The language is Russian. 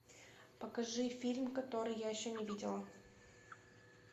покажи фильм который я еще не видела